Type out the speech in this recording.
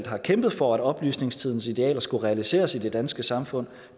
har kæmpet for at oplysningstidens idealer skulle realiseres i det danske samfund